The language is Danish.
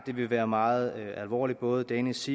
det vil være meget alvorligt både danish